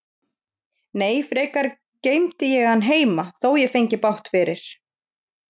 Nei, frekar geymdi ég hann heima, þótt ég fengi bágt fyrir.